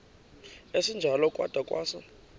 esinjalo kwada kwasa